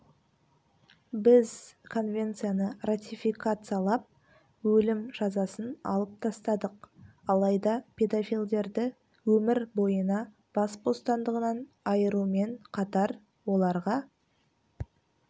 біз конвенцияны ратификациялап өлім жазасын алып тастадық алайда педофилдерді өмір бойына бас бостандығынан айырумен қатар оларға